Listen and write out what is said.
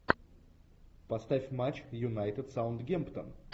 поставь матч юнайтед саутгемптон